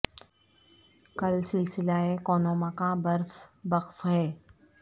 کل سلسلہ ء کون و مکاں برف بکف ہے